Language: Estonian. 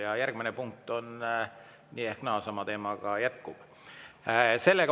Ja järgmises punktis nii või naa sama teema jätkub.